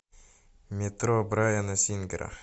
метро брайана сингера